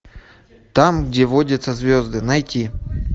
там где водятся звезды найти